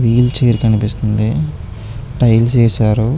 Wheel chair కనిపిస్తుంది. Tiles వేశారు.